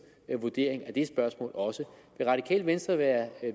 vurdering af det spørgsmål også vil radikale venstre være